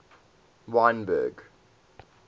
wynberg